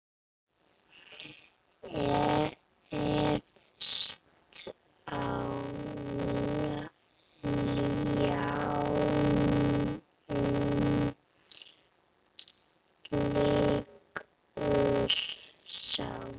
Efst á ljánum liggur sá.